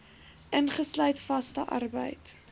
ingesluit vaste arbeid